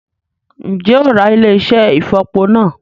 Ǹjẹ́ o óò Ra ilé-iṣẹ́ ìfọ̀po náà?